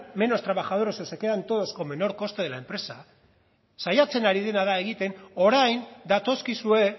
menos trabajadores o se quedan todos con menor coste de la empresa saiatzen ari dena da egiten orain datozkizue